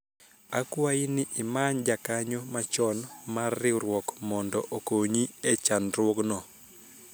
akwayi ni imany jakanyo machon mar riwruok mondo okonyi e chandruogno